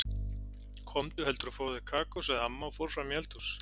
Komdu heldur og fáðu þér kakó, sagði amma og fór fram í eldhús.